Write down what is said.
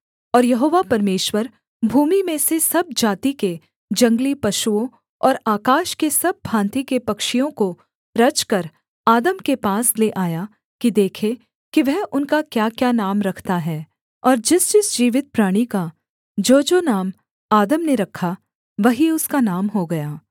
और यहोवा परमेश्वर भूमि में से सब जाति के जंगली पशुओं और आकाश के सब भाँति के पक्षियों को रचकर आदम के पास ले आया कि देखे कि वह उनका क्याक्या नाम रखता है और जिसजिस जीवित प्राणी का जोजो नाम आदम ने रखा वही उसका नाम हो गया